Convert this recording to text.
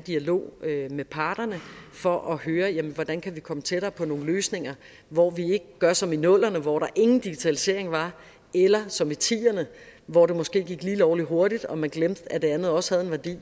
dialog med parterne for at høre hvordan vi kan komme tættere på nogle løsninger hvor vi ikke gør som i nullerne hvor der ingen digitalisering var eller som i tierne hvor det måske gik lige lovlig hurtigt og man glemte at det andet også havde en værdi